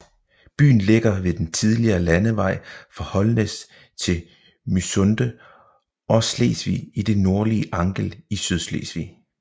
Byen ligger ved den tidligere landevej fra Holnæs til Mysunde og Slesvig i det nordlige Angel i Sydslesvig